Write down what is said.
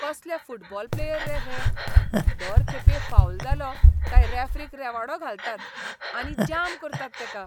कसले football player रे हे? दर खेपे फावल जालो काय रॅफरीक रेवाडो घालतात आनी जाम करतात तेका.